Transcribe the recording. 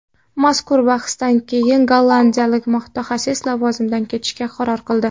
Mazkur bahsdan keyin gollandiyalik mutaxassis lavozimidan ketishga qaror qildi.